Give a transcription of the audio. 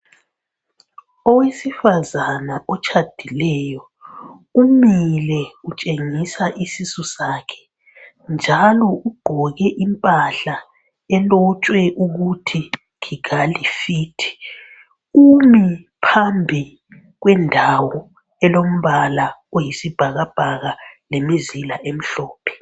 Owesifazana otshadileyo umile utshengisa isisu sakhe njalo ugqoke impahla elotshwe ukuthi kigali fit umi phambi kwendawo elombala oyisibhakabhaka lemizila emhlophe.